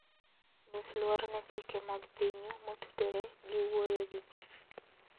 Nyis luor ne chike mag pinyu motudore gi wuoyo gi ji.